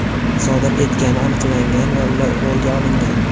sodir etgani aniqlangan va ular qo‘lga olingan.